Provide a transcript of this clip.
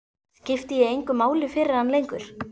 Skipti ég engu máli fyrir hann lengur?